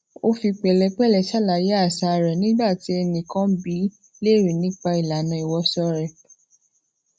ó fi pèlépèlé ṣàlàyé àṣà rè nígbà tí ẹnìkan bi í leere nipa ilanà iwoṣọ re